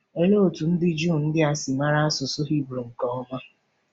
Ọlee otú ndị Juu ndị a si mara asụsụ Hibru nke ọma?